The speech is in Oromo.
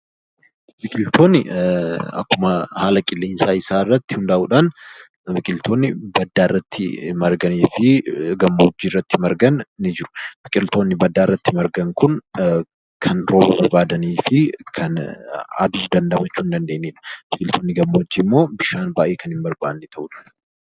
Biqiltoonni akkauma haala qilleensaa isaa irratti hundaa'uu dhaan biqiltoonni baddaa irratti marganii fi gammoojjii irratti margan ni jiru. Biqiltoonni baddaa irratti margan kun kan rooba barbaadanii fi aduu damdamachuu hin dandeenye jechuu dha. Biqiltoonni gammoojjii immoo bishaan baay'ee kan hin barbaanne ta'u.